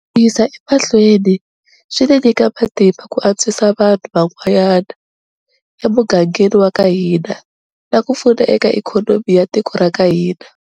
Ku yisa emahlweni, swi ni nyika matimba ku antswisa vanhu van'wana emugangeni waka hina na ku pfuna eka ikhonomi ya tiko raka hina,